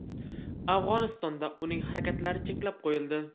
Afg‘onistonda uning harakatlari cheklab qo‘yildi.